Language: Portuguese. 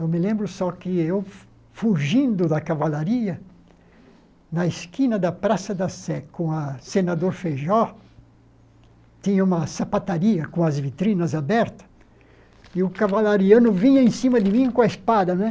Eu me lembro só que eu, fugindo da cavalaria, na esquina da Praça da Sé, com o senador Feijó, tinha uma sapataria com as vitrinas abertas, e o cavalariano vinha em cima de mim com a espada, né?